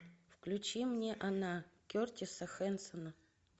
включи мне она кертиса хэнсона